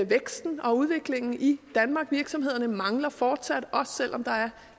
væksten og udviklingen i danmark virksomhederne mangler fortsat arbejdskraft også selv om der er